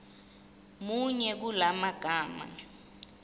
muni kula magama